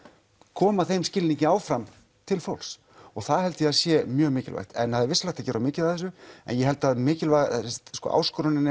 koma þeim skilningi áfram til fólks það held ég að sé mjög mikilvægt en það er vissulega hægt að gera of mikið af þessu en ég held að mikilvægasta áskorunin